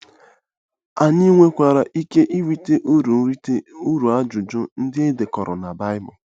Ànyị nwekwara ike irite uru irite uru n'ajụjụ ndị e dekọrọ na Baịbụl?